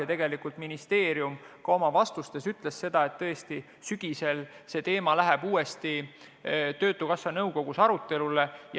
Ja tegelikult ministeerium ütles ka oma vastustes seda, et see teema läheb sügisel uuesti töötukassa nõukogus arutelule.